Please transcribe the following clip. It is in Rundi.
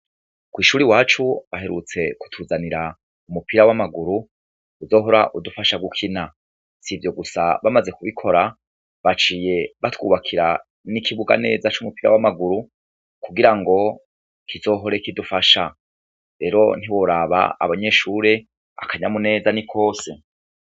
Kw'ishure iwacu, baherutse kutuzanira umupira w'amaguru, uzohora udufasha gukina. Si ivyo gusa, bamaze kubikora, baciye batwubakira n'ikibuga neza c'umupira w'amaguru, kugirango kizohore kidufasha. Rero ntiworaba, abanyeshure, akanyamuneza ni kose.